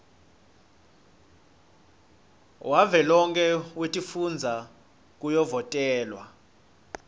wavelonkhe wetifundza kuyovotelwa